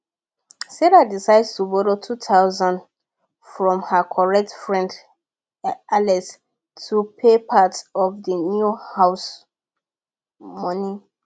sarah decide to borrow 2000 from her correct friend alex to pay part of d new house money